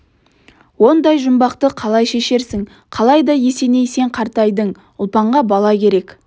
ондай жұмбақты қалай шешерсің қалайда есеней сен қартайдың ұлпанға бала керек